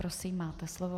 Prosím, máte slovo.